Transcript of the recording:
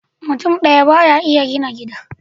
Mutum ɗaya ba ya iya gina gida.